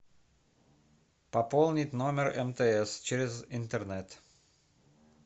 пополнить номер мтс через интернет